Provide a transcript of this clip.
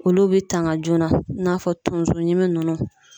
Olu be tanga joona, i na fɔ tonso ɲimi nunnu.